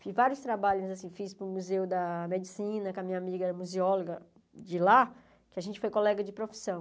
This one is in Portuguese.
Fiz vários trabalhos, fiz para o Museu da Medicina, com a minha amiga museóloga de lá, que a gente foi colega de profissão.